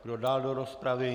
Kdo dál do rozpravy?